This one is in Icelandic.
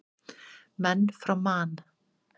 Menn frá Man.